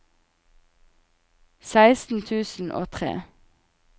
seksten tusen og tre